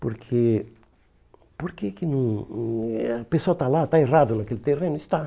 Porque porque que hum eh a pessoa está lá, está errado naquele terreno, está.